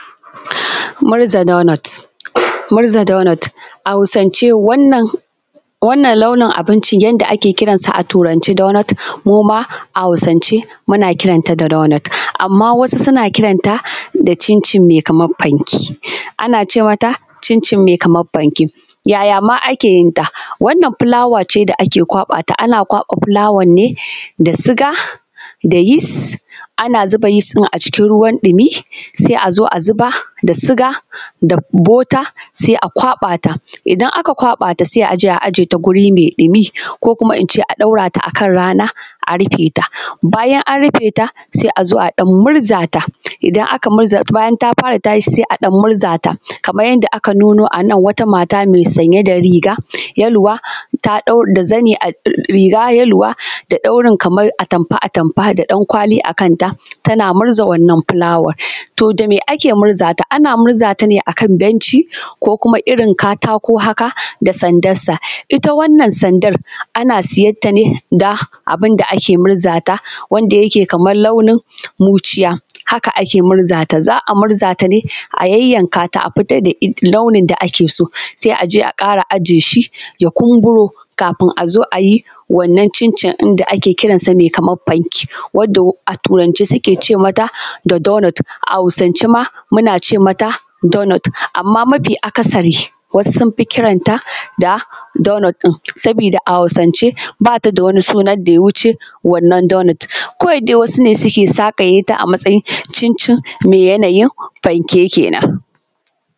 Murza donot. Murza donot, a Hausance, wannan, wannan launin abincin yanda ake kiran sa a Turance ‘Doughnut’ mu ma, a Hausance, muna kiran ta da ‘donot’. Amma wasu suna kiran ta da cicin mai kamar fanke. Ana ce mata, ‘cincin mai kamar fanke’. Yaya ma ake yin ta? Wannan fulawa ce da ake kwaɓa ta, ana kwaɓa fulawar ne da suga, da yis. Ana zuba yis ɗin a cikin ruwan ɗumi, sai a zo a zuba, da suga da bota, sai a kwaɓa ta. Idan aka kwaɓa ta sai a je a aje ta guri mai ɗumi, ko kuma in ce a ɗora ta a kan rana, a rufe ta. Bayan an rufe ta, sai a zo a ɗan murza ta. Idan aka murza, bayan ta fara tashi, sai a ɗan murza ta, kamar yadda aka nuno a nan wata mata mai sanye da riga yaluwa, ta, da zani a, riga yaluwa da ɗaurin kamar atamfa-atamfa da ɗankwali a kanta, tana murza wannan fulawar. To, da me ake murza ta? Ana murza ta ne a kan benci, ko kuma irin kamar katako haka, da sandarsa. Ita wannan sandar, ana siyar ta ne da abun da ake murza ta wanda yake da kamar launin muciya. Haka ake murza ta, za a murza ta dai, a yayyanka ta a fitar da launin da ake so. Sai a je a ƙara aje shi ya kumburo, kafin a zo a yi wannan cincin ɗin da ake kiran sa mai kamar fanke, wadda a Turance suke ce mata da ‘daughnut’ a Hausance ma, muna ce mata ‘donot’, amma mafi akasari, wasu sun fi kiran ta, da ‘donot’ ɗin sabida a Hausance ba ta da wani sunan da ya wuce wannan donot. Kawai dai wasu ne suke sakaye ta a matsayin cincin mai yanayin fanke ke nan.